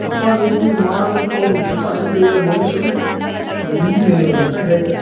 ರೀತಿ ಮಾಡುವಂತ ಒಂದು ಕೆಪ್ಯಾಸಿಟಿ ಇರೋ ಮನುಷ್ಯನೇ ಒಂದ್ ಇಂಜಿನಿಯರ್ ಅಂತ ಹೇಳ್ತಾರೆ.